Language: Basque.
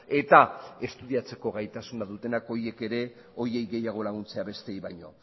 eta estudiatzeko gaitasuna dutenak horiek ere horiei gehiago laguntzea besteei baino